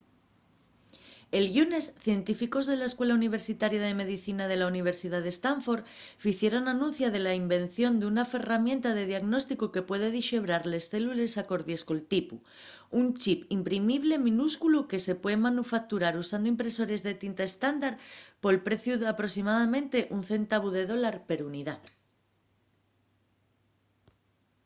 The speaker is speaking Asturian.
el llunes científicos de la escuela universitaria de medicina de la universidad de stanford ficieron anuncia de la invención d’una ferramienta de diagnósticu que puede dixebrar les célules acordies col tipu: un chip imprimible minúsculu que se puede manufacturar usando impresores de tinta estándar pol preciu d’aproximadamente un centavu de dólar per unidá